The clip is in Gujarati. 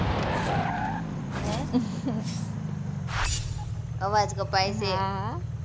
હે? અવાજ કપાય છે. હા હા.